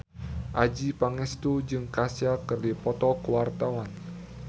Adjie Pangestu jeung Kesha keur dipoto ku wartawan